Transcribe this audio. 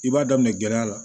I b'a daminɛ gɛlɛya la